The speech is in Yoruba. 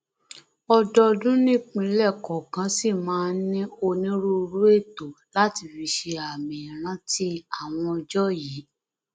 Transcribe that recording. ọdọọdún nìpínlẹ kọọkan ṣì máa ń ní onírúurú ètò láti fi ṣe àmì ìrántí àwọn ọjọ yìí